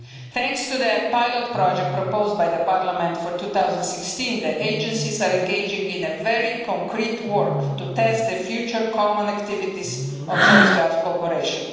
Thanks to the pilot project proposed by Parliament for 2016, the agencies are engaging in very concrete work to test the future common activities of coastguard cooperation.